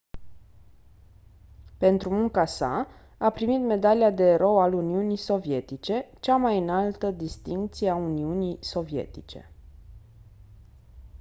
pentru munca sa a primit medalia de «erou al uniunii sovietice» cea mai înaltă distincție a uniunii sovietice.